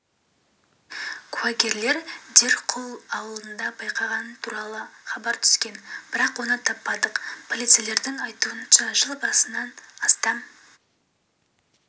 куәгерлер дерқул ауылында байқағаны туралы хабар түскен бірақ оны таппадық полицейлердің айтуынша жыл басынан астам